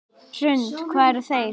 Hrund: Hvar eru þeir?